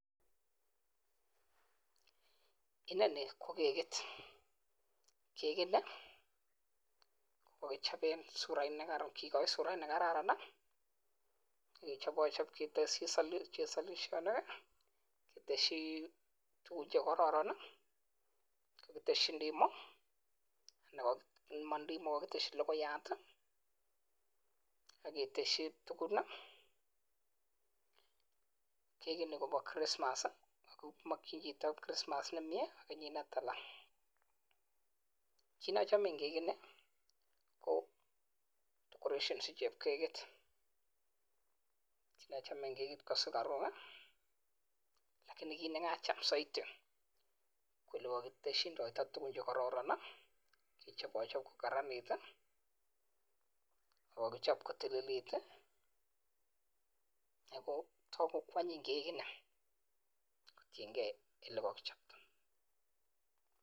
Inoni ko kegit. Kegini kokogichoben kigochi surait ne kararan, ak kechobochob keteshi solisholik keteshi tuguk che kororon. Kogiteshi logoyat ak keteshi tugun. Kegini kobo Christmas kimokyin chito Christmas nemyee ak kenyit ne tala. Kit ne ochome en kekini ko decoration ichubo kekit. Kit ne ochome en kekit kosugaruk. Lakini kit ne kacham soiti ko ele kogiteshindoito tuguk che kororon kechobochob kogaranit. Ago kokichob kotililit ago togu ko anyin kegini kotienge ole kogichopto.